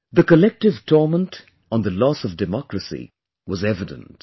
The collective torment on the loss of democracy was evident